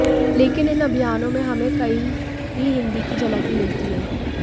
लेकिन इन अभियानों में हमें कही भी हिंदी की झलक नहीं मिलती है